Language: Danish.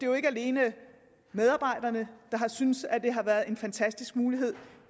jo ikke alene medarbejderne der har syntes at det har været en fantastisk mulighed